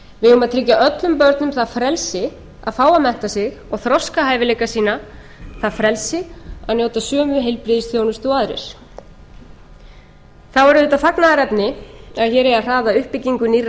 eigum að tryggja öllum börnum það frelsi að fá að mennta sig og þroska hæfileika sína það frelsi að njóta sömu heilbrigðisþjónustu og aðrir það er auðvitað fagnaðarefni að hér eigi að hraða uppbyggingu nýrra